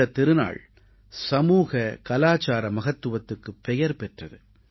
இந்தத் திருநாள் சமூக கலாச்சார மகத்துவத்துக்குப் பெயர் பெற்றது